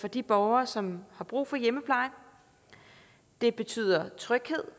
de borgere som har brug for hjemmepleje det betyder tryghed